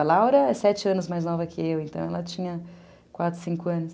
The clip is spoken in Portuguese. A Laura é sete anos mais nova que eu, então ela tinha quatro, cinco anos.